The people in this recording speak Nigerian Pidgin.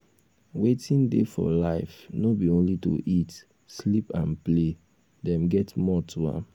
wetin dey for life no be only to eat sleep and play dem get more to am